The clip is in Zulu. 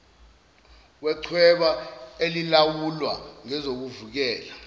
wechweba elilawulwa ngezokuvikela